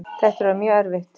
Þetta er orðið mjög erfitt